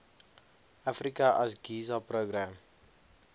africa asgisa program